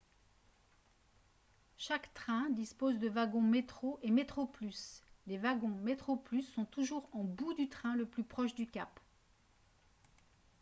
chaque train dispose de wagons metro et metroplus les wagons metroplus sont toujours en bout du train le plus proche du cap